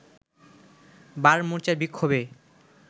বাম মোর্চার বিক্ষোভে